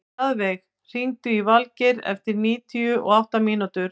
Mjaðveig, hringdu í Valgeir eftir níutíu og átta mínútur.